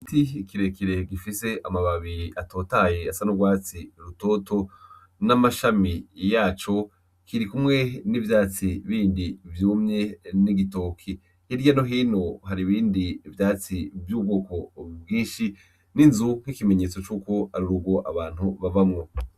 Igiti kirekire gifise amababi atotahaye asa n'urwatsi rutoto, n'amashami yaco, kiri kumwe n'ivyatsi bindi vyumye, n'igitoki, hirya no hino hari ibindi vyatsi vy'ubwoko bwinshi, n'inzu nk'ikimenyetso c'uko ari urugo abantu babamwo.